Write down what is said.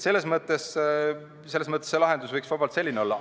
Selles mõttes võiks see lahendus vabalt selline olla.